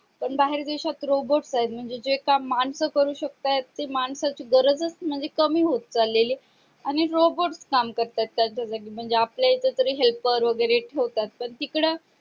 पण काही देश्यात robot आहे म्हणजे जे काम माणसे करू शकता आहे माणसाची गरज म्हणजे कामी होत चालीये आणि rebort काम करता आहे त्याच्या ऐवजी म्हणजे आपल्या इथे तर helper वगैरे ठेवतात तर तिकडं